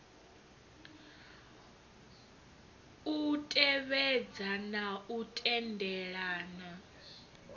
u tevhedza na u tendelana